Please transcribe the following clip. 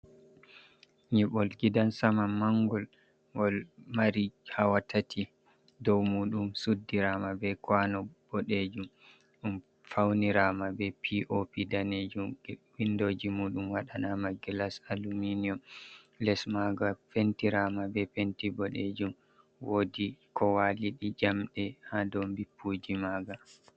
"Nyibol gidan sama" mangol gol mari hawa tati dow mudum suddirama be kwano bodejum dum faunirama be pop danejum windoji mudum wadanama gilas aluminium les maga pentirama be penti bodejum wodi ko waɗi jamɗe ha do jippuji maga.